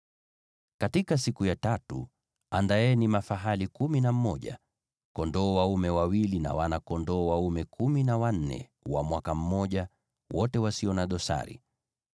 “ ‘Katika siku ya tatu andaeni mafahali wachanga kumi na wawili, kondoo dume wawili, na wana-kondoo kumi na wanne wa mwaka mmoja, wote wasio na dosari.